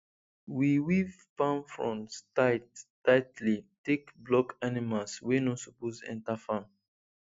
we weave palm fronds tight tightly take block animals wey no suppose enter farm